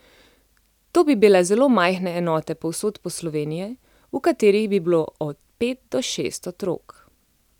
To bi bile zelo majhne enote povsod po Sloveniji, v katerih bi bilo od pet do šest otrok.